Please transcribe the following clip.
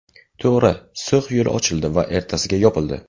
To‘g‘ri, So‘x yo‘li ochildi va ertasiga yopildi.